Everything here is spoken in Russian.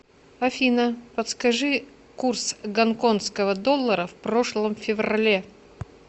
афина подскажи курс гонконгского доллара в прошлом феврале